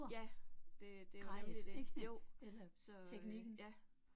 Ja, det det nemlig det jo, så øh ja